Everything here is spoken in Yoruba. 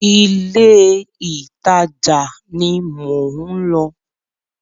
Ilé ìtajà ni mò ń lọ.